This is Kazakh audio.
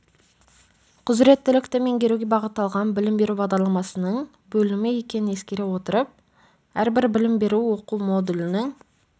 құзыреттілікті меңгеруге бағытталған білім беру бағдарламасының бөлімі екенін ескере отырып әрбір білім беру оқу модулінің